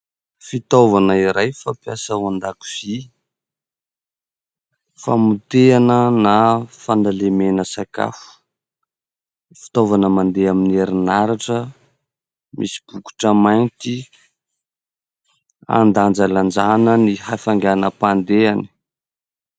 Fitaovana iray fampiasa ao an-dakozia, famotehana na fanalemena sakafo. Fitaovana mandeha amin'ny herinaratra, misy bokotra mainty andanjalanjana ny hafainganam-pandehany.